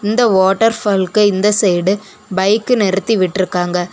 இந்த வாட்டர் ஃபாலுக்கு இந்த சைடு பைக் நிறுத்தி விட்டு இருக்காங்க.